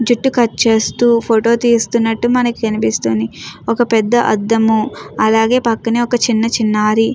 జుట్టు కట్ చేస్తూ ఫోటో తీస్తున్నట్టు మనకి కనిపిస్తుంది ఒక పెద్ద అద్దము అలాగే పక్కనే ఒక చిన్న చిన్నారి.